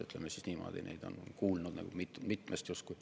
Ütleme niimoodi, olen kuulnud mitmest sellisest uuringust.